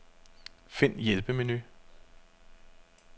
Find hjælpemenu.